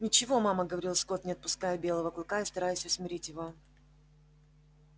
ничего мама говорил скотт не отпуская белого клыка и стараясь усмирить его